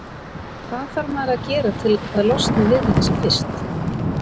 Hvað þarf maður að gera til að losna við þetta sem fyrst?